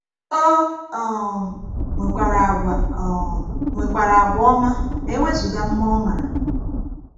O um nwekwara àgwà um nwekwara àgwà ọma ma e wezụga mma ọ maara.